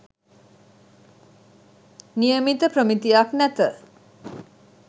නියමිත ප්‍රමිතියක් නැත.